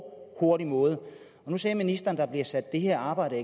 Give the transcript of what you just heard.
og hurtig måde nu sagde ministeren at det her arbejde